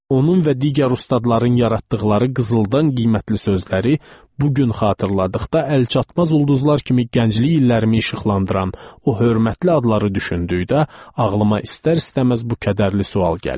Onun və digər ustadların yaratdıqları qızıldan qiymətli sözləri bu gün xatırladıqda əlçatmaz ulduzlar kimi gənclik illərimi işıqlandıran o hörmətli adları düşündükdə ağlıma istər-istəməz bu kədərli sual gəlir.